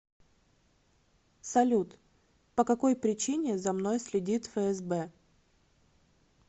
салют по какой причине за мной следит фсб